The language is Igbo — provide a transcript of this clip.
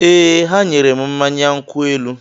Ee, ha nyere m mmanya nkwụ elu